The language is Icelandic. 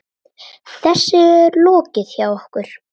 Þessu er lokið hjá okkur.